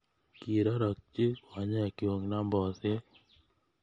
Kirorokchi konyekchu nambosyek.